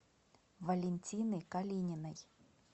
валентины калининой